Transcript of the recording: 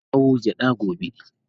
Zan kawo gyada gobe.